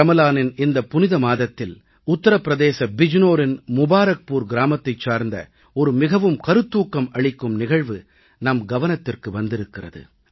ரமலானின் இந்த புனித மாதத்தில் உத்தர பிரதேச மாநிலம் பிஜ்நோரின் முபாரக்பூர் கிராமத்தைச் சார்ந்த ஒரு மிகக் கருத்தூக்கம் அளிக்கும் நிகழ்வு நம் கவனத்திற்கு வந்திருக்கிறது